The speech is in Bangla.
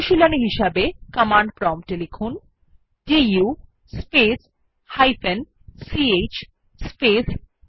অনুশীলনী হিসাবে কমান্ড প্রম্পটে লিখুন দু স্পেস ch স্পেস txt